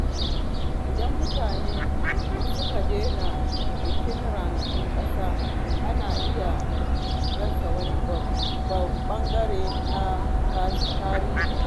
Idan mutane suka daina bikin ranakun ƙasa, ana iya rasa wani ɓangare na tarihi.